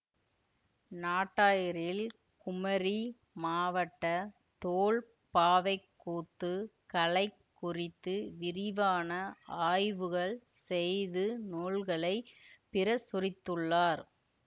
நாட்டாரியில் குமரி மாவட்ட தோல்பாவைக்கூத்து கலை குறித்து விரிவான ஆய்வுகள் செய்து நூல்களை பிரசுரித்துள்ளார்